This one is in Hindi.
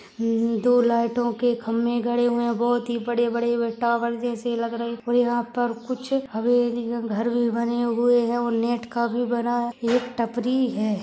दो लाइटों के खम्बे गड़े हुए बहुत ही बड़े बड़े टावर जैसे लग रहे है और यहाँ पर कुछ हवेलियां घर बने हुए है नेट का बे बना है एक टपरी है।